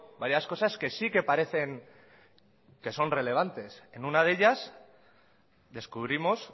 varias cosas que sí que parecen que son relevantes en una de ellas descubrimos